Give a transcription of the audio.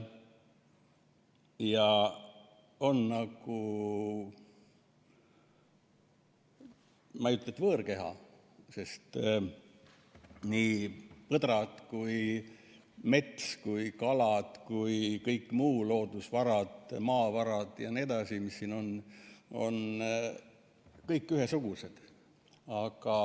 See on nagu, ma ei ütle, et võõrkeha, sest nii põdrad kui mets kui kalad kui kõik muu, loodusvarad, maavarad ja nii edasi, mis siin on, on kõik ühesugused.